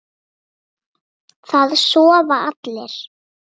Það sofa allir.